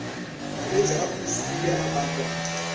malwetse a pustule a bakwang